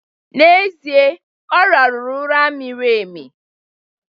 N'ezie, Ọ rahụru ụra miri emi